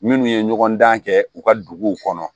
Minnu ye ɲɔgɔn dan kɛ u ka duguw kɔnɔ